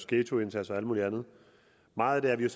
ghettoindsats og alt muligt andet meget af det er